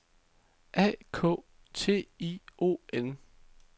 A K T I O N